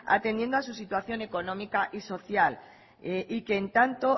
atendiendo a su situación económica y social y que en tanto